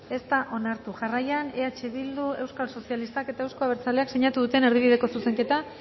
ez da onartu jarraian eh bildu euskal sozialistak eta euzko abertzaleak sinatu duten erdibideko zuzenketak